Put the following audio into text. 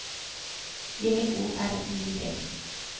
J O R I D